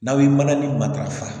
N'aw ye mana ni matarafa